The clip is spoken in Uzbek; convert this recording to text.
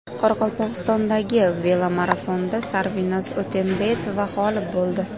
Qoraqalpog‘istondagi velomarafonda Sarvinoz O‘tembetova g‘olib bo‘ldi.